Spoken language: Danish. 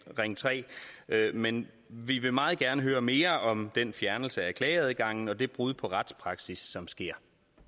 ring tre men vi vil meget gerne høre mere om den fjernelse af klageadgangen og det brud på retspraksis som sker